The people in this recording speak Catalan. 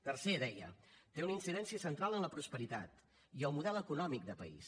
tercer deia té una incidència central en la prosperitat i el model econòmic de país